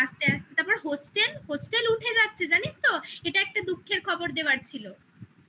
আস্তে আস্তে তারপর hostel hostel উঠে যাচ্ছে জানিস তো এটা একটা দুঃখের খবর দেওয়ার ছিল